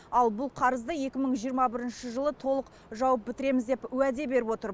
ал бұл қарызды екі мың жиырма бірінші жылы толық жауып бітіреміз деп уәде беріп отыр